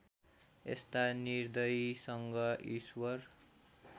यस्ता निर्दयीसँग ईश्वर